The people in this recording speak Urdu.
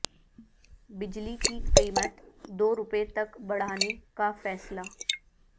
بجلی کی قیمت دو روپے تک بڑھانے کا فیصلہ